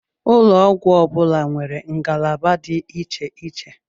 Ụlọ ọgwụ ọbula nwèrè ngalaba dị iche iche